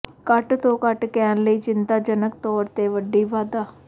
ਘੱਟ ਤੋਂ ਘੱਟ ਕਹਿਣ ਲਈ ਚਿੰਤਾਜਨਕ ਤੌਰ ਤੇ ਵੱਡੀ ਵਾਧਾ